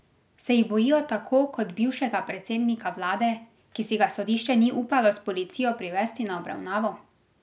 Se jih bojijo tako kot bivšega predsednika vlade, ki si ga sodišče ni upalo s policijo privesti na obravnavo?